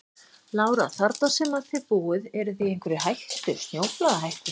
Lára: Þarna sem að þið búið eruð þið í einhverri hættu, snjóflóðahættu?